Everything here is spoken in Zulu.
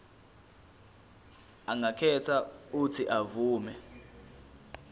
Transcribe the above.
angakhetha uuthi avume